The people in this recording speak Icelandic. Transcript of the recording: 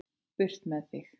Burt með þig.